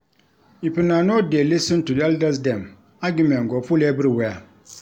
If una no dey lis ten to elders dem, argument go full everywhere.